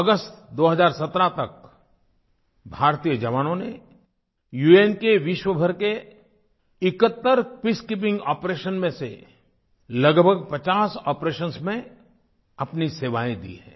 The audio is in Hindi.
अगस्त 2017 तक भारतीय जवानों ने उन के विश्वभर के 71 पीसकीपिंग आपरेशंस में से लगभग 50 आपरेशंस में अपनी सेवाएँ दी हैं